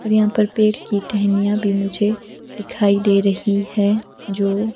और यहाँ पर पेड़ की टहनियाँ भी मुझे दिखाई दे रही है जो--